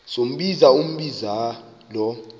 sombinza umbinza lo